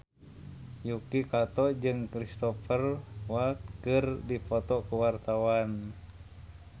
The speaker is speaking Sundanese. Yuki Kato jeung Cristhoper Waltz keur dipoto ku wartawan